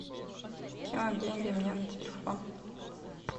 кинуть деньги мне на телефон